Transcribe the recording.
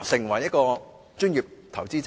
成為專業投資者。